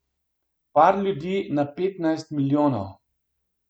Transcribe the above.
Par ljudi na petnajst milijonov.